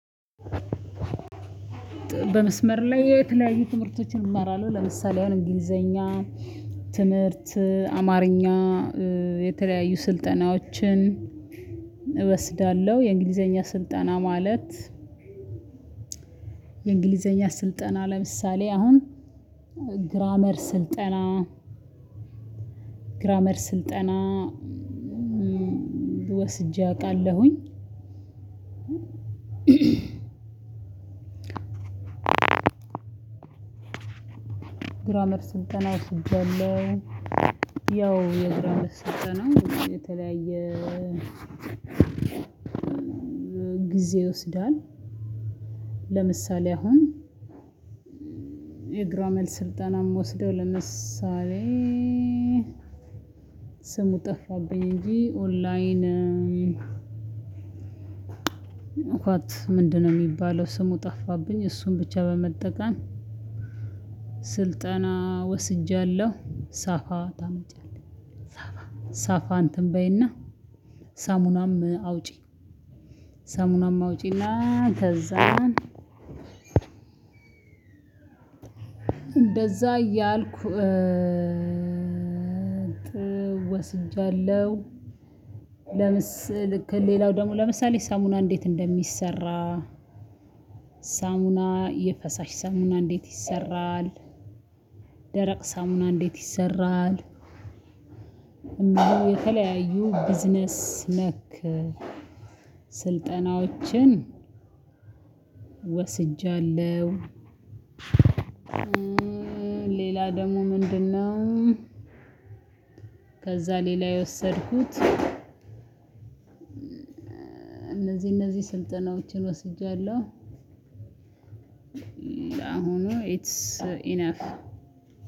በመስመር ላይ የተለያዩ ትምህርቶችን እመራለው ለምሳሌ አሁን እንግሊዘኛ ትምህርት አማርኛ የተለያዩ ስልጠናዎችን እወስዳለው። የእንግሊዘኛ ስልጠና ማለት። የእንግሊዘኛ ስልጠና ለምሳሌ አሁን ግራመር ስልጠና ግራመር ስልጠና ወስጄ አውቃለሁኝ። ግራመር ስልጠና ወስጃለው ያው የግራመር ስልጠና የተለያየ ግዜ ይወስዳል። ለምሳሌ አሁን የግራመር ስልጠና የምወስደው ለምሳሌ ስሙ ጠፋብኝ እንጂ ኦንላይን ዋት ምንድነው የሚባለው ስሙ ጠፋብኝ እሱን ብቻ በመጠቀም ስልጠና ወስጃለው። ሳፋ ታምጫለሽ ሳፋ ሳፋ እንትን በይና ሳሙናም አውጪ ሰሙናም እና አውጪና ከዛን እንደዛ እያልኩ ወስጃለሁ። ለምስል ልክ ሌላው ደግሞ ለምሳሌ ሳሙና እንዴት እንደሚሰራ። ሳሙና የፈሳሽ ሳሙና እንዴት ይሰራል? ደረቅ ሳሙና እንዴት ይሰራል? እንደው የተለያዩ ቢዝነስ ነክ ስልጠናዎችን ወስጃለው። ሌላ ደግሞ ምንድነው? ከዛ ሌላ የወሰድኩት እነዚህ እነዚህ ስልጠናዎችን ወስጃለው። ለአሁኑ ኢትስ ኢነፍ